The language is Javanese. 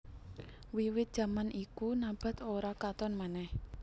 Wiwit jaman iku Nabath ora katon meneh